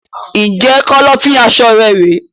Ǹjẹ́ Kọ́lọ́fín aṣọ rẹ rèé?